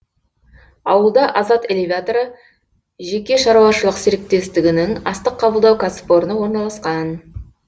ауылда азат элеваторы жеке шаруашылық серіктестігінің астық қабылдау кәсіпорны орналасқан